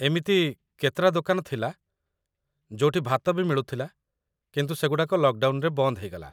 ଏମିତି କେତେଟା ଦୋକାନ ଥିଲା ଯୋଉଠି ଭାତ ବି ମିଳୁଥିଲା, କିନ୍ତୁ ସେଗୁଡ଼ାକ ଲକ୍‌ଡାଉନ୍‌ରେ ବନ୍ଦ ହେଇଗଲା ।